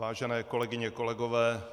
Vážené kolegyně, kolegové.